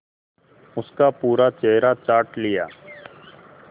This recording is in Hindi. उसका पूरा चेहरा चाट लिया